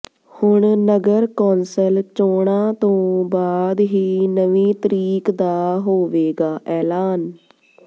ਹੁਣ ਨਗਰ ਕੌਂਸਲ ਚੋਣਾਂ ਤੋਂ ਬਾਅਦ ਹੀ ਨਵੀਂ ਤਰੀਕ ਦਾ ਹੋਵੇਗਾ ਐਲਾਨ